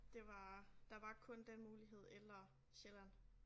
Det var der var kun den mulighed eller Sjælland